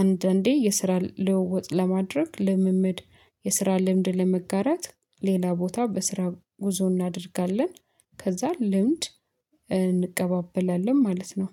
አንዳንዴ የስራ ለውጥ ለማድረግ ልምምድ የስራ ልምድ ለመጋራት ሌላ ቦታ በስራ ጉዞ እናደርጋለን። ከዛ ልምድ እንቀባበላለን ማለት ነው